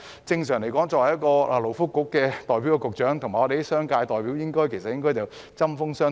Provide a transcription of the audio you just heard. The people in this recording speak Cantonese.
正常來說，勞工及福利局局長應該跟商界代表常常針鋒相對。